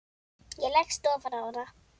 Ég leggst ofan á hann.